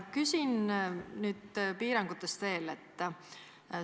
Küsin veel piirangute kohta.